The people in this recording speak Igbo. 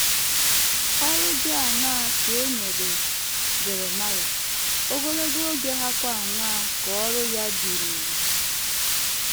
Ọrụ dị aṅaa ka e nyere Jeremaịa, ogologo oge hàkwa aṅaa ka ọrụ ya dịruru?